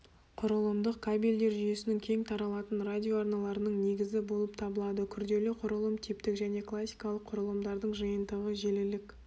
құрылымдық кабельдер жүйесінің кеңтаралатын радиоарналарының негізі болып табылады күрделі құрылым типтік және классикалық құрылымдардың жиынтығы желілік